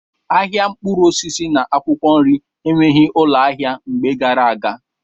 Ahịa mkpụrụ osisi na akwụkwọ nri enweghị ụlọ ahịa mgbe gara aga.